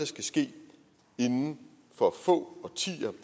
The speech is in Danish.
skal ske inden for få årtier